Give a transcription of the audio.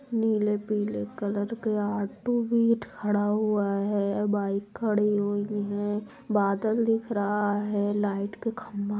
नीले पीले कलर के ऑटो भी खड़ा हुआ है बाइक भी खड़ी हुई है बादल दिख रहा है लाइट के खंबा--